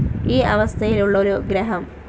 ഈ അവസ്ഥയിൽ ഉള്ള ഒരു ഗ്രഹം